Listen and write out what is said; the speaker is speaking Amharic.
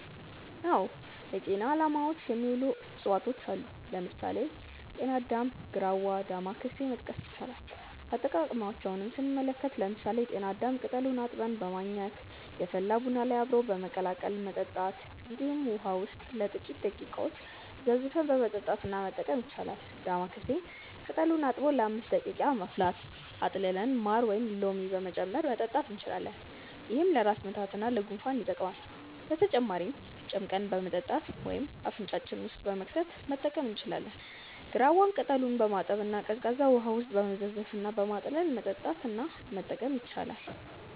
አዎ ለጤና አላማዎች የሚውሉ እፅዋቶች አሉ። ለምሳሌ: ጤና አዳም፣ ግራዋ እና ዳማከሴ መጥቀስ ይቻላል። አጠቃቀማቸውንም ስንመለከት ለምሳሌ ጤና አዳምን ቅጠሉን አጥበን በማኘክ፣ የፈላ ቡና ጋር አብሮ በመቀላቀል መጠጣት እንዲሁም ውሃ ውስጥ ለጥቂተረ ደቂቃዎች ዘፍዝፈን በመጠጣት እና መጠቀም ይቻላል። ዳማከሴንም ቅጠሉን አጥቦ ለ5 ደቂቃ በማፍላት አጥልለን ማር ወይም ሎሚ በመጨመር መጠጣት እንችላለን። ይህም ለራስ ምታት እና ለጉንፋን ይጠቅማል። በተጨማሪም ጨምቀን በመጠጣት ወይም አፍንጫችን ውስጥ በመክተት መጠቀም እንችላለን። ግራዋን ቅጠሉን በማጠብ እና ቀዝቃዛ ውሃ ውስጥ በመዘፍዘፍ እና በማጥለል መጠጣት እና መጠቀም ይቻላል።